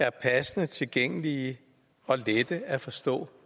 er passende tilgængelige og lette at forstå